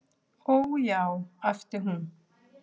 """Ó, já, æpti hún."""